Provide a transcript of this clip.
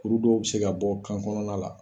Kuru dɔw be se ka bɔ kan kɔnɔna la